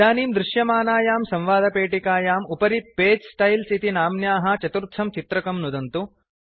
इदानीं दृश्यमानायां संवादपेटिकायां उपरि पगे स्टाइल्स् इति नाम्न्याः चतुर्थं चित्रकं नुदन्तु